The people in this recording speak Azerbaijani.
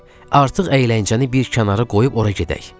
Eh, artıq əyləncəni bir kənara qoyub ora gedək!